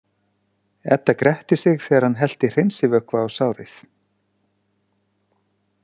Edda gretti sig þegar hann hellti hreinsivökva á sárið.